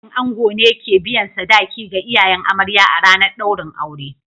Dangin ango ne ke biyan sadaki ga iyayen amarya a ranar daurin aure